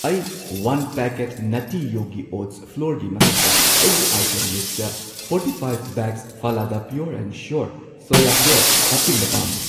ꯑꯩ one packet ꯅꯠꯇꯤ ꯌꯣꯒꯤ ꯑꯣꯠꯁ ꯐ꯭ꯂꯣꯔꯒꯤ ꯃꯊꯛꯇ ꯑꯩꯒꯤ ꯑꯥꯏꯇꯦꯝ ꯂꯤꯁꯠꯇ ꯐꯣꯔꯇꯤꯐꯥꯢꯚ ꯕꯦꯒꯁ ꯐꯂꯥꯗꯥ ꯄ꯭ꯌꯣꯔ ꯑꯦꯟ ꯁ꯭ꯌꯣꯔ ꯁꯣꯌꯥ ꯐ꯭ꯂꯣꯔ ꯍꯥꯞꯆꯤꯟꯕ ꯄꯥꯝꯃꯤ꯫